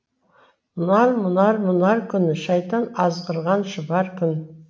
мұнар мұнар мұнар күн шайтан азғырған шұбар күн